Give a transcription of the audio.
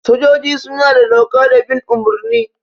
Sojoji suna da doka da bin umurni.